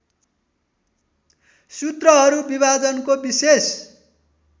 सूत्रहरू विभाजनको विशेष